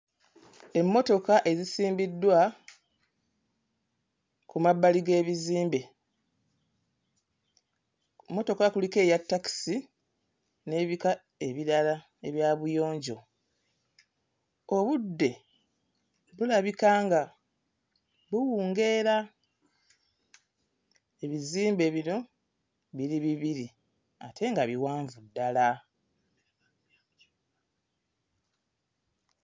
Emmotoka ezisimbiddwa ku mabbali g'ebizimbe. Mmotoka kuliko eya takisi n'ebika ebirala ebya buyonjo. Obudde bulabika nga buwungeera. Ebizimbe bino biri bibiri ate nga biwanvu ddala.